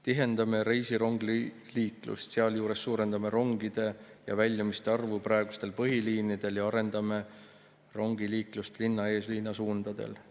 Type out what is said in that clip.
Tihendame reisirongiliiklust, sealjuures suurendame rongide ja väljumiste arvu praegustel põhiliinidel ja arendame rongiliiklust linna-eeslinna suundadel.